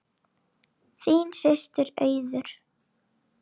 Þín systir Auður.